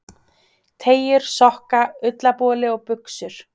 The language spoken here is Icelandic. Teygjur, sokka, ullarboli og buxur.